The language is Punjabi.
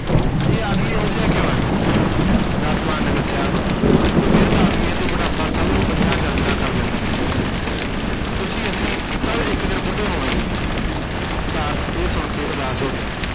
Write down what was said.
ਇਹ ਆਦਮੀ ਇਹੋ ਜਿਹਾ ਕਿਉਂ ਹੈ, ਰਥਵਾਨ ਨੇ ਦੱਸਿਆ ਇਹ ਬਿਰਧ ਆਦਮੀ ਹੈ ਤੇ ਬੁਢਾਪਾ ਸਭ ਨੂੰ ਅਜਿਹਾ ਜਰਜਰਾ ਕਰ ਦਿੰਦਾ ਹੈ ਤੁਸੀਂ ਅਸੀਂ ਸਭ ਇਕ ਦਿਨ ਬੁੱਢੇ ਹੋਵਾਂਗੇ ਸਿਧਾਰਥ ਇਹ ਸੁਣ ਕੇ ਉਦਾਸ ਹੋ ਗਿਆ।